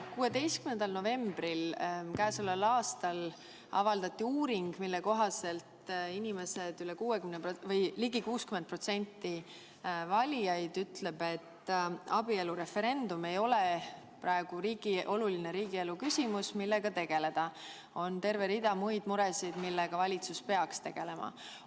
16. novembril käesoleval aastal avaldati uuring, mille kohaselt ligi 60% valijaid ütleb, et abielureferendum ei ole praegu oluline riigielu küsimus, millega tegeleda, et on terve rida muid muresid, millega valitsus peaks tegelema.